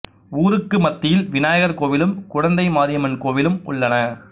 ஊருக்கு மத்தியில் விநாயகர் கோவிலும் குழந்தை மாரியம்மன் கோவிலும் உள்ளன